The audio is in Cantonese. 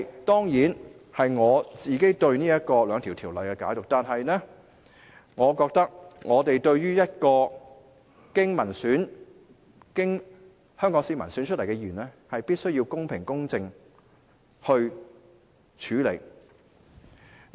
當然，這是我對這兩項條例的解讀，但是，我覺得我們必須對一個經香港市民選出來的議員作出公平公正的處理。